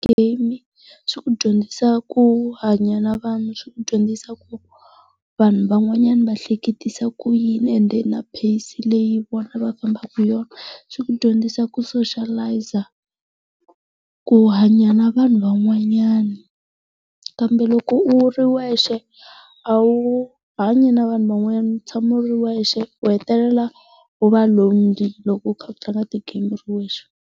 Game swi ku dyondzisa ku hanya na vanhu, swi ku dyondzisa ku vanhu van'wanyana va hleketisa ku yini ende na pace leyi vona va fambaka hi yona. Swi ku dyondzisa ku soshiyalayiza, ku hanya na vanhu van'wanyana, kambe loko u ri wexe, a wu hanyi na vanhu van'wanyana u tshama u ri wexe u hetelela u va lonely loko u kha u tlanga ti-game u ri wexe. s